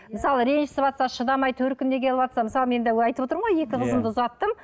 мысалы ренжісіватса шыдамай төркініне келіватса мысалы мен де айтып отырмын ғой екі қызымды ұзаттым